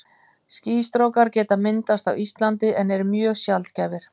Skýstrókar geta myndast á Íslandi en eru mjög sjaldgæfir.